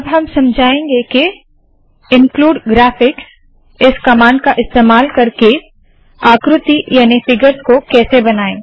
अब हम समझाएंगे के इनक्लूड graphicsइन्क्लूड ग्राफिक्स इस कमांड का इस्तेमाल करके आकृति याने फिगर्स को कैसे बनाए